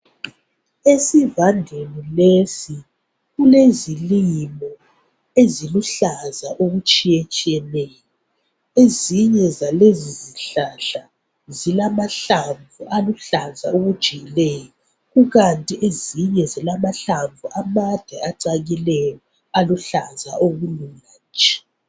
Esivandeni lesi kulezilimo eziluhlaza okutshiyetshiyeneyo. Ezinye zalezi zihlahla zilamahlamvu aluhlaza okujiyileyo kukanti ezinye zilamahlamvu amade acakileyo aluhlaza okulula nje.